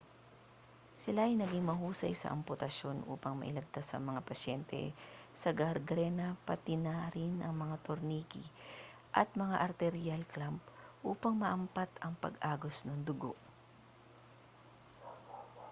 sila ay naging mahusay sa amputasyon upang mailigtas ang mga pasyente sa gangrena pati na rin mga tornikey at mga arterial clamp upang maampat ang pag-agos ng dugo